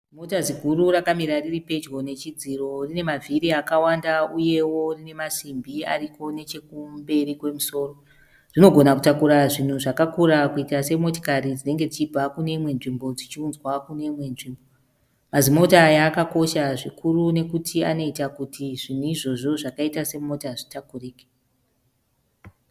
Zimota ziguru rakamira riripedyo nechidziro. Rine mavhiri akawanda uyewo rinemasimbi ariko nechekumberi kwemusoro. Rinogona kutakura zvinhu zvakakura kuita semotikari dzinenge dzichibva kuneimwe nzvimbo dzichiunzwa kuneimwe nzvimbo. Mazimota aya akakosha zvikuru nekuti anoita kuti zvinhu izvozvo zvakaita semota zvitakurike.